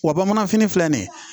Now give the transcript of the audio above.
Wa bamanan fini filɛ nin ye